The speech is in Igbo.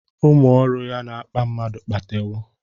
Ụmụ ọrụ ya na-akpa mmadụ kpatewọ